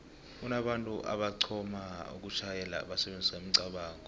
kunabantu aboxhona ukutjhayela basebenzisa imicabango